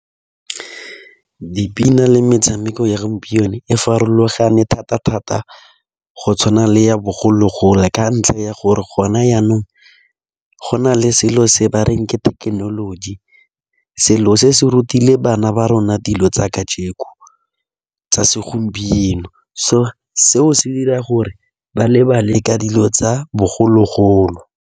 Dipina le metshameko ya gompieno e farologane thata-thata, go tshwana le ya bogologolo, ka ntlha ya gore gona yanong go na le selo se bareng ke thekenoloji. Selo se se re rutile bana ba rona dilo tsa kajeko, tsa segompieno so seo se dira gore ba lebale ka dilo tsa bogologolo.